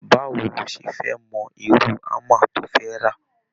Báwo ló ṣe fẹ mọ irú hámà tó fẹ ra?